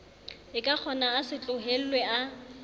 ekakgona a se tlohellwe a